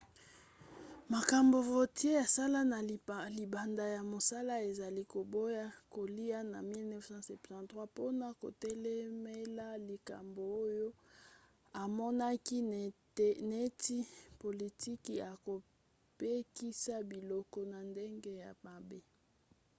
makambo vautier asala na libanda ya mosala ezali koboya kolia na 1973 mpona kotelemela likambo oyo amonaki neti politiki ya kopekisa biloko na ndenge ya mabe